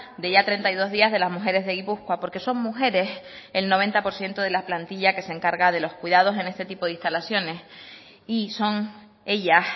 de ya treinta y dos días de las mujeres de gipuzkoa porque son mujeres el noventa por ciento de la plantilla que se encarga de los cuidados en este tipo de instalaciones y son ellas